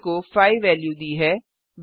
आ को 5 वेल्यू दी है